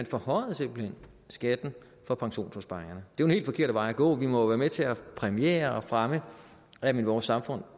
forhøjede skatten på pensionsopsparingerne det den helt forkerte vej at gå vi må jo være med til at præmiere og fremme at man i vores samfund